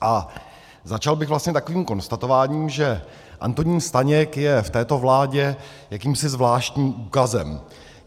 A začal bych vlastně takovým konstatováním, že Antonín Staněk je v této vládě jakýmsi zvláštním úkazem.